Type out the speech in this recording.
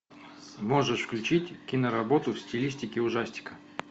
можешь включить киноработу в стилистике ужастика